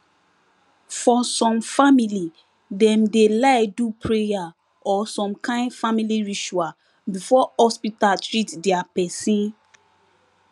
for some family dem dey like do prayer or some kind family ritual before hospital treat dia pesin